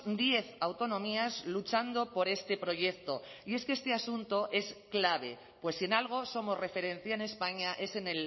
diez autonomías luchando por este proyecto y es que este asunto es clave pues si en algo somos referencia en españa es en